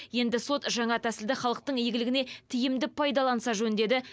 енді сот жаңа тәсілді халықтың игілігіне тиімді пайдаланса жөн деді